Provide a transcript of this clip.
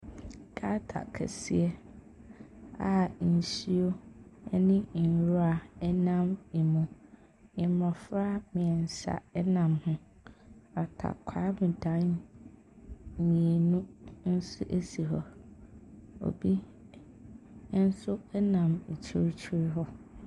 Gutter kɛseɛ a nsuo ne nwira nam mu. Mmɔfra mmeɛnsa nam ho. Atakwaame dan mmienu nso si hɔ. Obi Nso nam akyirikyiri hɔ.